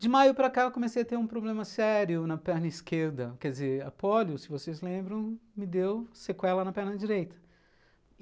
De maio para cá eu comecei a ter um problema sério na perna esquerda, quer dizer, a polio, se vocês lembram, me deu sequela na perna direita.